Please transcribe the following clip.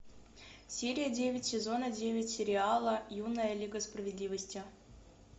серия девять сезона девять сериала юная лига справедливости